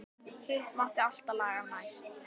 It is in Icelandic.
Hitt mátti alltaf laga næst.